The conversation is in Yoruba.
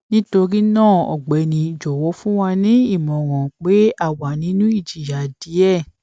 nítorí náà ọgbẹni jọwọ fún wa ní ìmọràn pé a wà nínú ìjìyà díẹ